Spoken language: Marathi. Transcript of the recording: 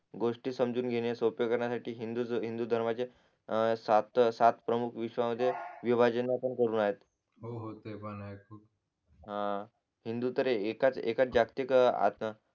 गोष्टी समजून घेणे सोपे करण्यसाठी हिंदू हिंदू हिंदुधर्मचे सात सात प्रमुख विश्वामध्ये विभाजना पण करून आहेत हो हो त्या पण आहे हा हिंदुतर एका एकाच जागतिक